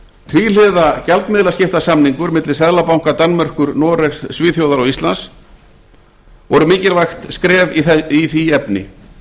tvíhliða gjaldmiðlaskiptasamningur milli s seðlabanka danmerkur noregs svíþjóðar og íslands voru mikilvæga skref í því efni